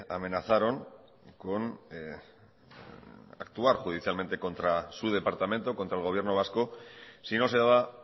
amenazaron con actuar judicialmente contra su departamento contra el gobierno vasco si no se daba